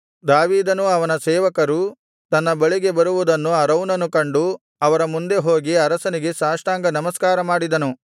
ದಾವೀದನೂ ಅವನ ಸೇವಕರೂ ತನ್ನ ಬಳಿಗೆ ಬರುವುದನ್ನು ಅರೌನನು ಕಂಡು ಅವರ ಮುಂದೆ ಹೋಗಿ ಅರಸನಿಗೆ ಸಾಷ್ಟಾಂಗ ನಮಸ್ಕಾರ ಮಾಡಿದನು